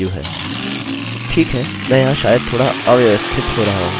ठीक है मैं यहाँ शायद थोड़ा अव्यवस्थित हो रहा हूँ